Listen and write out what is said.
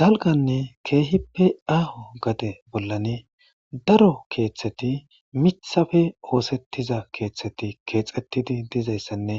dalganne keehippe aaho gade bollani daro keeththeti mithafe oosettiza keeththeti keexettidi dizayssanne